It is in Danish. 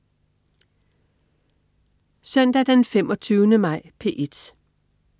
Søndag den 25. maj - P1: